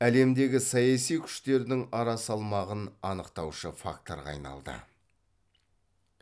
әлемдегі саяси күштердің арасалмағын анықтаушы факторға айналды